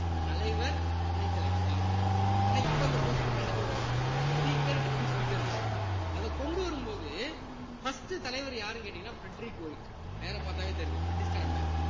தலைவர் துணைத் தலைவர்தான் ஆனா இப்ப அந்த post அ நம்ம என்ன சொல்றோம் speaker deputy speaker ன்னு அதை கொண்டு வரும்போது first தலைவர் யாருன்னு கேட்டீங்கன்ன பிரெட்ரிக் ஓய்ட் பேரை பார்த்தாலே தெரியுது பிரிட்டிஷ்காரன் பேரு